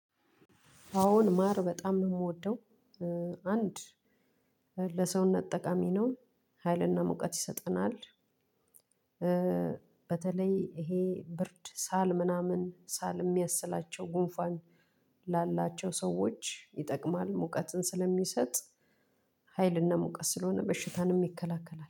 አወን ማር በጣም ነው የምወደው። አንድ ለሰውነት በጣም ጠቃሚ ነው ሀይል እና ሙቀት ይሰጠናል። በተለይ ይሄ ብርድ ሳል ምናምን ሳል የሚያስላቸው ጉንፏን። ላላቸው ሰዎች ይጠቅማል ሙቀትን ስለሚሰጥ ሀይልና ሙቀስ ስለሆነ በሽታን የሚከላከለው